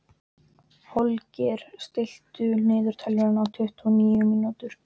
Holger, stilltu niðurteljara á tuttugu og níu mínútur.